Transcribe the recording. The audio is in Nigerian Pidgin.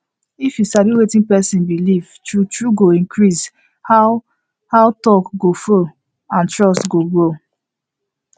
if you sabi wetin person believe true true go increase how how talk go flow and trust go grow